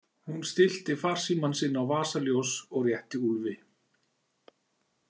Hún stillti farsímann sinn á vasaljós og rétti Úlfi.